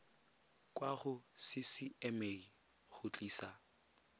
kwa go ccma go tlisa